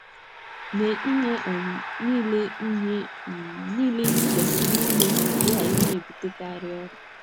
Mee ihe um niile ihe um niile i kwesịrị ime ka ị ghara ịna - ebutekarị ọrịa.